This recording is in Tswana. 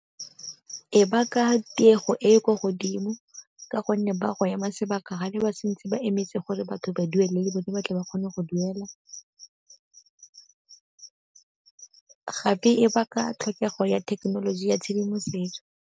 E baka tiego e e ko godimo ka gonne ba ile go ema sebaka ga ne ba sa ntse ba emetse gore batho ba duele le bone ba tle ba kgone go duela gape e baka tlhokego ya thekenoloji ya tshedimosetso.